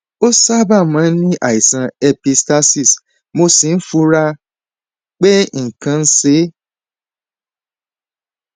ó sábà máa ń ní àìsàn epistaxis mo sì fura pé nǹkan kan ń ṣe é